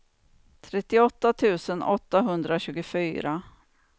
trettioåtta tusen åttahundratjugofyra